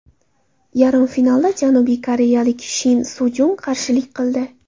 Yarim finalda janubiy koreyalik Shin Sujung qarshilik qildi.